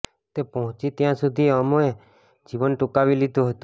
તે પહોંચી ત્યાં સુધી ઓમે જીવન ટૂંકાવી લીધું હતું